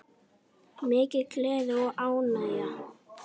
Mikil gleði og ánægja.